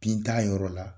Bin t'a yɔrɔ la